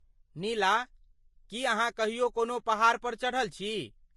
नीला, की अहाँ कहियो कोनो पहाड़ पर चढ़ल छी?